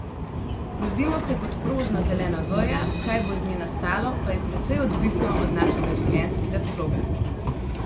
Rodimo se kot prožna zelena veja, kaj bo iz nje nastalo, pa je precej odvisno od našega življenjskega sloga.